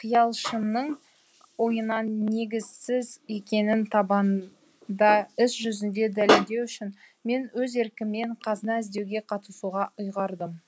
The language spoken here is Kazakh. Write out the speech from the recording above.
қиялшымның ойынын негізсіз екенін табанда іс жүзінде дәлелдеу үшін мен өз еркіммен қазына іздеуге қатысуға ұйғардым